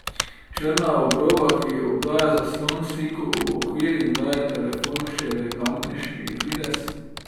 Črna obroba, ki obdaja zaslon, sliko uokviri in daje telefonu še elegantnejši videz.